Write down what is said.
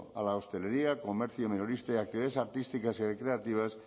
a la hostelería comercio minorista y actividades artísticas y creativas